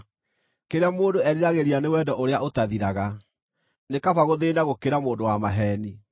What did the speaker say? Kĩrĩa mũndũ eriragĩria nĩ wendo ũrĩa ũtathiraga, nĩ kaba gũthĩĩna gũkĩra mũndũ wa maheeni.